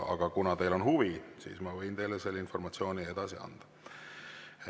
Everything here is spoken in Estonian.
Aga kuna teil on huvi, siis ma võin teile selle informatsiooni edasi anda.